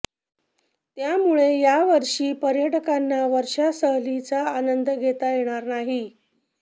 त्यामुळे या वर्षी पर्यटकांना वर्षा सहलीचा आनंद घेता येणार नाही